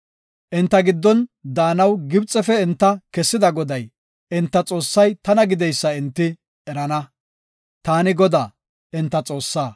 Enta giddon daanaw Gibxefe enta kessida Goday, enta Xoossay tana gideysa enti erana. Taani Godaa, enta Xoossaa.